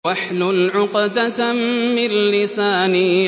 وَاحْلُلْ عُقْدَةً مِّن لِّسَانِي